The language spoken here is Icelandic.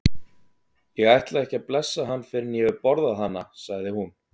Ég ætla ekki að blessa hann fyrr en ég hef borðað hana, sagði hún.